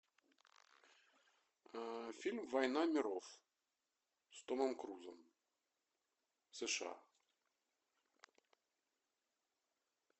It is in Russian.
фильм война миров с томом крузом сша